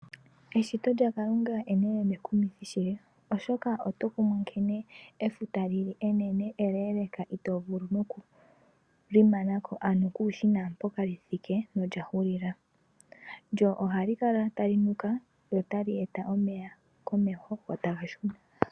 Eshito lya Kalunga, enene nekumithi shili. Ooshoka oto kumwa nkene efuta lili enene eleeleeka itoovulu noku li manako, ano kuushi naampoka li thike, no lya hulila. Lyo ohali kala tali , lyo tali eta omeya komehl go taga shuna.